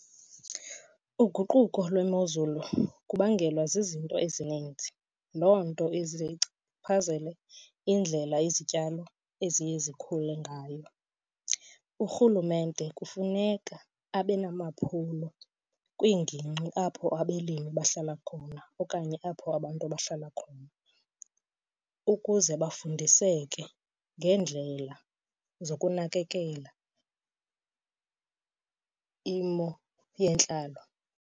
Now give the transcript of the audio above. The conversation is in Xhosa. Uguquko lwemozulu kubangelwa zizinto ezininzi. Loo nto ize ichaphazele indlela izityalo eziye zikhule ngayo. Urhulumente kufuneka abe namaphulo kwiingingqi apho abalimi bahlala khona okanye apho abantu abahlala khona ukuze bafundiseke ngeendlela zokunakekela imo yentlalo.